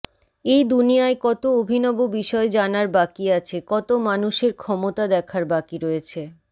এই দুনিয়ায় কত অভিনব বিষয় জানার বাকি আছে কত মানুষের ক্ষমতা দেখার বাকি রয়েছে